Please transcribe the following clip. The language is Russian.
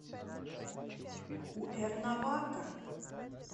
куэрнавака